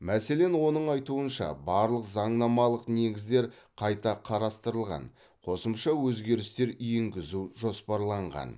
мәселен оның айтуынша барлық заңнамалық негіздер қайта қарастырылған қосымша өзгерістер енгізу жоспарланған